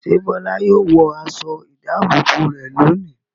Ṣé Bọ́lá yóò wọ aṣọ-ìdáàbòbò rẹ̀ lónìí?